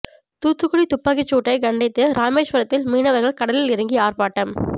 தூத்துக்குடி துப்பாக்கி சூட்டை கண்டித்து ராமேஸ்வரத்தில் மீனவர்கள் கடலில் இறங்கி ஆர்ப்பாட்டம்